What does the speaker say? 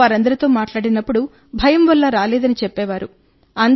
మేము వారందరితో మాట్లాడినప్పుడు భయం వల్ల రాలేదని చెప్పేవారు